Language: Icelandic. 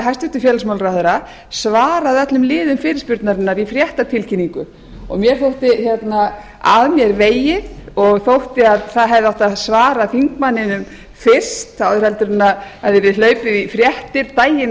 hæstvirts félagsmálaráðherra svarað öllum liðum fyrirspurnarinnar í fréttatilkynningu mér þótti að mér vegið og fannst að það hefði átt að svara þingmanninum fyrst áður en hlaupið væri í fréttir daginn